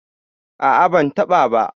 a a bantaba ba